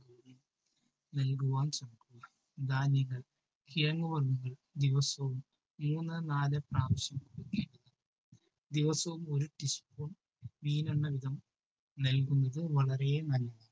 നൽകുവാൻ ശ്രദ്ധിക്കുക. ധാന്യങ്ങൾ കിഴങ്ങു വർഗങ്ങൾ ദിവസവും മൂന്ന് നാല് പ്രാവശ്യം കൂടി. ദിവസവും ഒരു teaspoon മീനെണ്ണ വീതം നൽകുന്നത് വളരെ നല്ലത്.